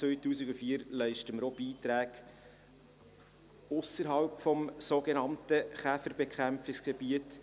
Erstmals seit 2004 leisten wir auch Beiträge ausserhalb des sogenannten Käferbekämpfungsgebiets.